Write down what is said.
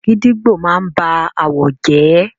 Gidígbò máa n ba àwọ̀ jẹ́.